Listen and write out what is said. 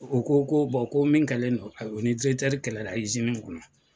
U ko ko ko min kalen don u ni kɛlɛla kɔnɔ